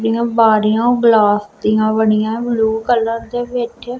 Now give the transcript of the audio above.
ਇਹ ਬਾਰੀਆਂ ਗਲਾਸ ਦਿਆਂ ਬਣਿਆ ਹੈ ਬਲੂ ਕਲਰ ਦੇ ਵਿੱਚ।